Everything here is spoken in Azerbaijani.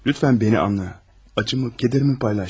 Zəhmət olmasa, məni anla, ağrımı, kədərimi bölüş.